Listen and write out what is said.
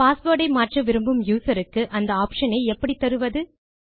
password ஐ மாற்ற விரும்பும் யூசர் க்கு அந்த ஆப்ஷன் ஐ எப்படி தருவது